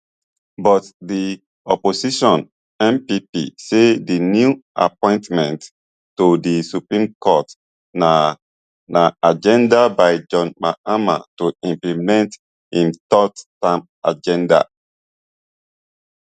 but di opposition npp say di new appointmentto di supreme court na na agenda by john mahama to implement im third term agenda